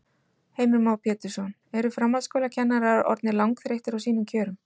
Heimir Már Pétursson: Eru framhaldsskólakennarar orðnir langþreyttir á sínum kjörum?